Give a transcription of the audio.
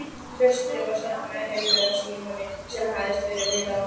Klaustrið var stofnað af heilögum Símoni sem hafðist við á